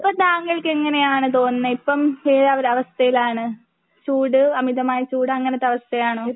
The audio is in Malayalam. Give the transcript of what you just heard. ഇപ്പോ താങ്കൾക്ക് എങ്ങനെയാണ് തോനുന്നേ ഇപ്പം ഏത് ഒരു അവസ്ഥയിലാണ് ചൂട് അമിതമായ ചൂട് അങ്ങനത്തെ അവസ്ഥയാണോ?